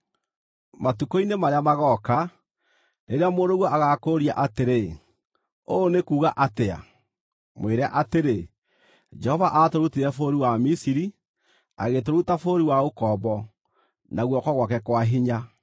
“Matukũ-inĩ marĩa magooka, rĩrĩa mũrũguo agaakũũria atĩrĩ, ‘Ũũ nĩ kuuga atĩa?’ mwĩre atĩrĩ, ‘Jehova aatũrutire bũrũri wa Misiri, agĩtũruta bũrũri wa ũkombo, na guoko gwake kwa hinya.